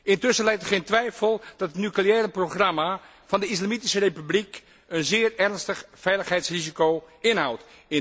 Intussen lijdt het geen twijfel dat het nucleaire programma van de Islamitische Republiek een zeer ernstig veiligheidsrisico inhoudt.